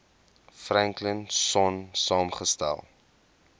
franklin sonn saamgestel